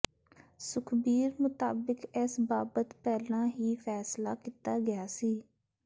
ਸੁਖਬੀਰ ਮੁਤਾਬਿਕ ਇਸ ਬਾਬਤ ਪਹਿਲਾਂ ਹੀ ਫੈਸਲਾ ਕੀਤਾ ਗਿਆ ਸੀ